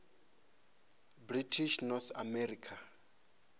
british north america